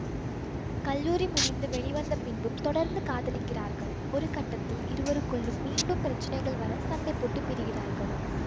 கல்லூரி முடிந்து வெளிவந்த பின்பும் தொடர்ந்து காதலிக்கிறார்கள் ஒருகட்டத்தில் இவர்களுக்குள்ளும் மீண்டும் பிரச்சினைகள் வர சண்டைபோட்டு பிரிகிறார்கள்